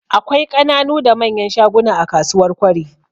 Akwai ƙananu da manyan shaguna a kasuwar Kwari.